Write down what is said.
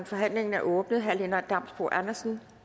forhandlingen er åbnet herre lennart damsbo andersen